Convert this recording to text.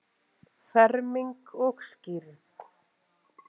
Ferming og skírn.